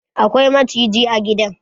Akwai maciji a gidan